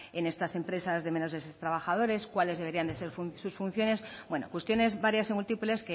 en estas empresas de menos de seis trabajadores cuáles deberían de ser sus funciones bueno cuestiones varias y múltiples